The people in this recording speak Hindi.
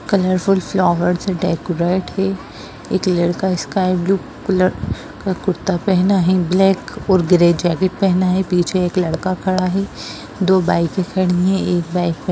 कलरफूल फ्लावर से डेकोरेट है एक लड़का स्काई ब्लू कलर का कुर्ता पहना है ब्लैक और ग्रे जैकेट पहना है पीछे एक लड़का खड़ा है दो बाइकें खड़ी हैं एक बाइक पे --